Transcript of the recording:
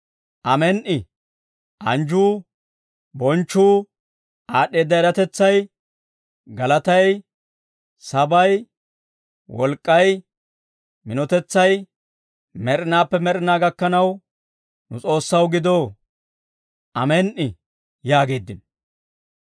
«Amen"i! Anjjuu, bonchchuu, aad'd'eedda eratetsay, galatay, sabay, wolk'k'ay, minotetsay, med'inaappe med'inaa gakkanaw nu S'oossaw gido. Amen"i!» yaageeddino.